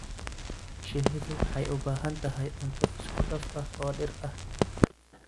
Shinnidu waxay u baahan tahay cunto isku dhaf ah oo dhir ah.